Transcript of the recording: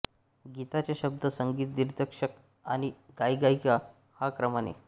गीताचे शब्द संगीत दिग्दर्शक आणि गायकगायिका या क्रमाने